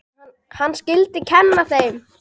Hann skyldi kenna þeim.